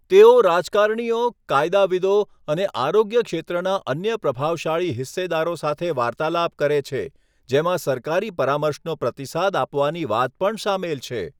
તેઓ રાજકારણીઓ, કાયદાવિદો, અને આરોગ્ય ક્ષેત્રના અન્ય પ્રભાવશાળી હિસ્સેદારો સાથે વાર્તાલાપ કરે છે, જેમાં સરકારી પરામર્શનો પ્રતિસાદ આપવાની વાત પણ શામેલ છે.